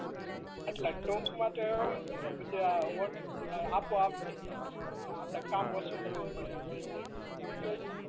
એટલે ટૂંકમાં તો એવું જ ને કે પછી આ ઓવર આપોઆપ થઈ જાય કે કા કામ ઓછુ કરવું પડે એટલે એવું બધુંય હજુ આવડતું હશે ને